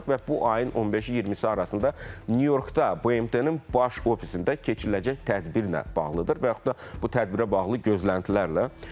və bu ayın 15-i 20-si arasında Nyu Yorkda BMT-nin baş ofisində keçiriləcək tədbirlə bağlıdır və yaxud da bu tədbirə bağlı gözləntilərlə.